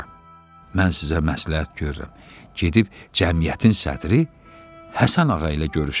Mən sizə məsləhət görürəm, gedib cəmiyyətin sədri Həsən ağa ilə görüşəsiz.